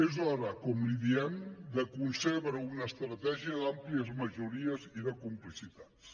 és hora com li diem de concebre una estratègia d’àmplies majories i de complicitats